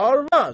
Arvad!